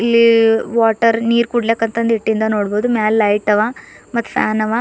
ಇಲ್ ವಾಟರ್ ನೀರ್ ಕುಡ್ಲಾಕಂತ ಇಟ್ಟಿಂದ ನೋಡ್ಬದು ಮ್ಯಾಲ್ ಲೈಟ್ ಅವ ಮತ್ ಫ್ಯಾನ್ ಅವ.